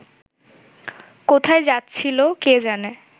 কোথায় যাচ্ছিল কে জানে